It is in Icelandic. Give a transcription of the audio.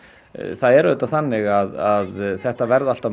það er auðvitað þannig að þetta verða alltaf